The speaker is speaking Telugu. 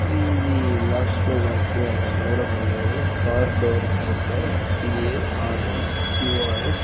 ఇది లాస్ట్ లో మనకి కనపడడం లేదు కార్ డోర్స్ అంట సి_ఎ_ఆర్_డి_సి_ఒ_ఆర్_ఎస్ .